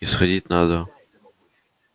исходить надо